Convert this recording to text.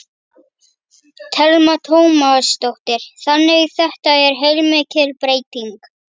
Telma Tómasdóttir: Þannig þetta er heilmikil breyting?